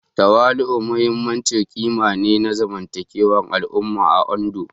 Tawali'u muhimmin ƙima ne na zamantakewar al'umma a Ondo